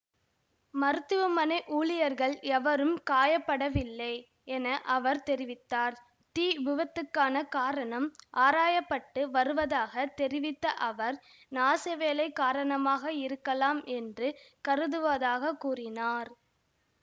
மருத்துவமனை ஊழியர்கள் எவரும் காயப்படவில்லை என அவர் தெரிவித்தார் தீவிபத்துக்கான காரணம் ஆராய பட்டு வருவதாக தெரிவித்த அவர் நாசவேலை காரணமாக இருக்கலாம் என்று கருதுவதாகக் கூறினார்